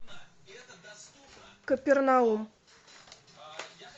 капернаум